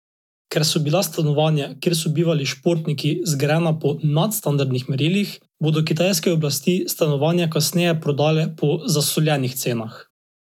Ker so bila stanovanja, kjer so bivali športniki, zgrajena po nadstandardnih merilih, bodo kitajske oblasti stanovanja kasneje prodale po zasoljenih cenah.